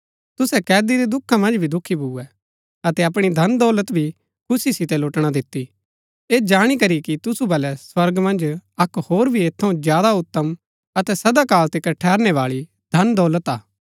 तुसै कैदी रै दुखा मन्ज भी दुखी भुऐ अतै अपणी धनदौलत भी खुशी सितै लुटणा दिती ऐह जाणी करी कि तुसु बलै स्वर्गा मन्ज अक्क होर भी ऐत थऊँ ज्यादा उतम अतै सदा काल तिकर ठेरनै बाळी धनदौलत हा